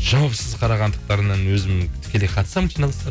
жауапсыз қарағандықтарынан өзім тікелей қатысамын жиналыстарына